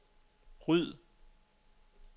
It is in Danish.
ryd